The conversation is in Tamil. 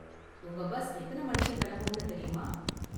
உங்க பஸ் எத்தன மணிக்கு கிளம்பும்னு தெரியுமா?